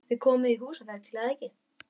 Þið komið í Húsafell, er það ekki?